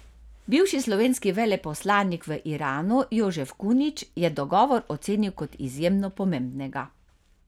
Bivši slovenski veleposlanik v Iranu Jožef Kunič je dogovor ocenil kot izjemno pomembnega.